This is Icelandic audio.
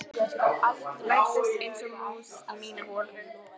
Læddist einsog mús í mína holu.